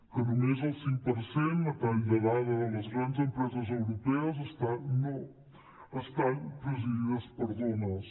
que només el cinc per cent a tall de dada de les empreses europees estan presidides per dones